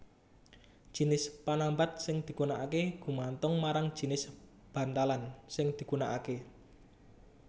Jinis panambat sing digunakaké gumantung marang jinis bantalan sing digunakaké